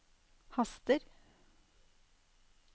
haster